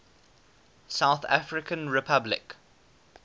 south african republic